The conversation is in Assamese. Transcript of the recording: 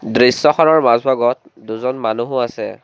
দৃশ্যখনৰ মাজভাগত দুজন মানুহো আছে।